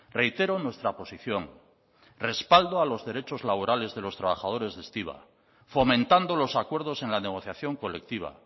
reitero nuestra posición respaldo a los derechos laborales de los trabajadores de estiba fomentando los acuerdos en la negociación colectiva